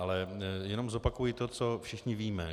Ale jenom zopakuji to, co všichni víme.